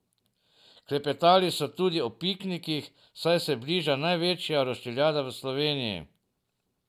Klepetali so tudi o piknikih, saj se bliža največja roštiljada v Sloveniji!